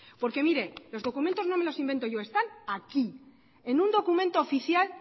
porque mire los documentos no me los invento yo están aquí en un documento oficial